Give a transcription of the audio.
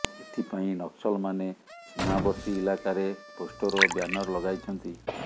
ଏଥିପାଇଁ ନକ୍ସଲମାନେ ସୀମାବର୍ତ୍ତୀ ଇଲାକାରେ ପୋଷ୍ଟର ଓ ବ୍ୟାନର ଲଗାଇଛନ୍ତି